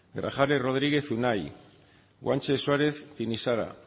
grajales rodríguez unai guanche suárez tinixara